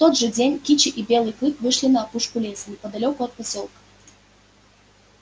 в тот же день кичи и белый клык вышли на опушку леса неподалёку от посёлка